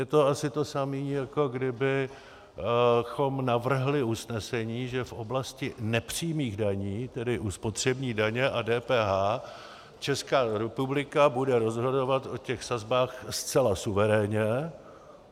Je to asi to samé, jako kdybychom navrhli usnesení, že v oblasti nepřímých daní, tedy u spotřební daně a DPH, Česká republika bude rozhodovat o těch sazbách zcela suverénně.